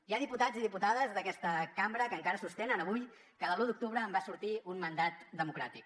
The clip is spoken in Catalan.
hi ha diputats i diputades d’aquesta cambra que encara sostenen avui que de l’u d’octubre en va sortir un mandat democràtic